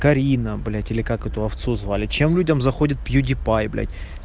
карина блять или как эту овцу звали чем людям заходит пьюдипай блять